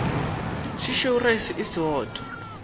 se šweu raese e sootho